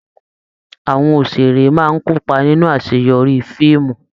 Àwọn òṣèré máa n kópa nínú àṣeyọrí fíìmù.